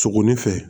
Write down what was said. Sogo ni fɛ